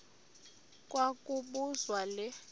kwa kobuzwa le